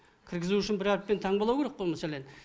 кіргізу үшін бір әріппен таңбалау керек қой мәселен